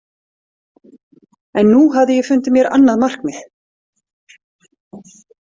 En nú hafði ég fundið mér annað markmið.